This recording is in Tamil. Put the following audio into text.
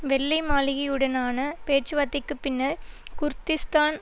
வெள்ளைமாளிகையுடனான பேச்சுவார்த்தைக்கு பின்னர் குர்திஷ்தான்